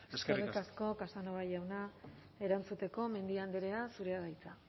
eskerrik asko eskerrik asko casanova jauna erantzuteko mendia andrea zurea da hitza